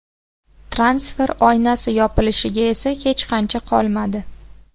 Transfer oynasi yopilishiga esa hech qancha qolmadi.